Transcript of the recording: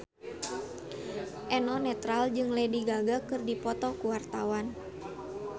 Eno Netral jeung Lady Gaga keur dipoto ku wartawan